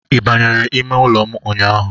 Ị banyere ime ụlọ m ụnyaahụ?